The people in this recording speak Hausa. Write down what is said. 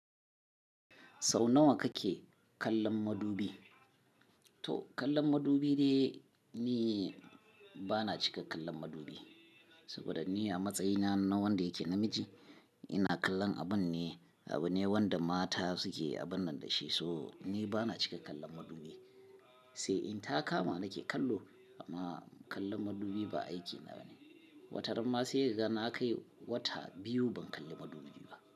Sau nawa kake kallon madubi? To kallon madubi dai, ni bana cika kallon madubi. Saboda ni a matsayina na wanda yake namiji ina kallon abun ne, abune wanda mata suke abun nan da shi so ni bana cika kallon madubi. Sai in ta kama ni ke kallo amma kallon madubi ba aiki na bane. Wataramma sai ka ga na kai wata biyu ban kalli madubi ba.